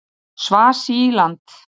Svasíland